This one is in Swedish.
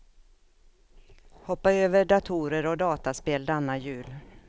Hoppa över datorer och dataspel denna jul.